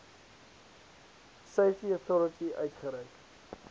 safety authority uitgereik